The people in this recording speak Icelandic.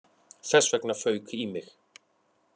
Þess vegna fauk í mig